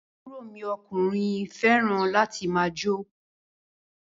Àbúrò mi ọkùnrin fẹràn láti máà jó.